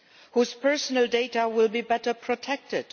whose personal data will be better protected